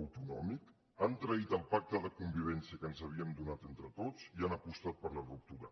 autonòmic han traït el pacte de convivència que ens havíem donat entre tots i han apostat per la ruptura